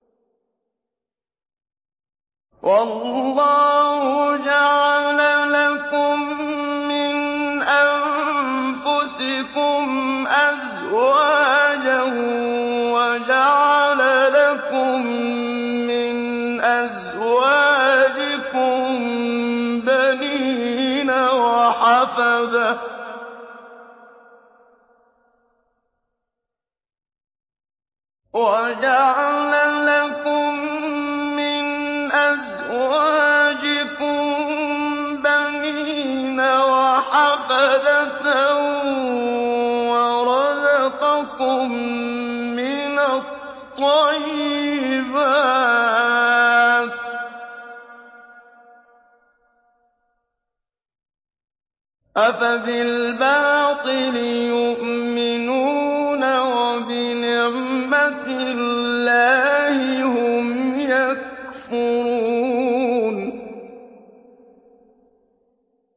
وَاللَّهُ جَعَلَ لَكُم مِّنْ أَنفُسِكُمْ أَزْوَاجًا وَجَعَلَ لَكُم مِّنْ أَزْوَاجِكُم بَنِينَ وَحَفَدَةً وَرَزَقَكُم مِّنَ الطَّيِّبَاتِ ۚ أَفَبِالْبَاطِلِ يُؤْمِنُونَ وَبِنِعْمَتِ اللَّهِ هُمْ يَكْفُرُونَ